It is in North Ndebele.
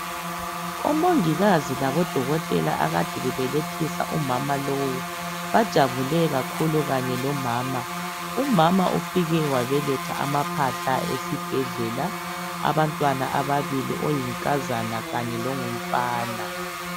Umongikazi labodokothela abade belethisa omama lowu bajabule kakhulu kanye lomama umama ufike wabeletha abaphahla esibhedlela abantwana ababili oyinkazana kanye longumfana